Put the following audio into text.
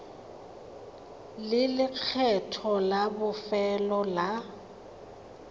le lekgetho la bofelo la